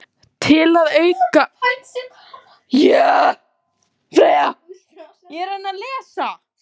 Til að auka aflið eða afköstin gæti sundmaðurinn til dæmis aukið tíðni sundtaka.